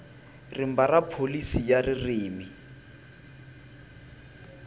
rimba ra pholisi ya ririmi